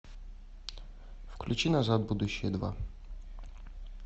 включи назад в будущее два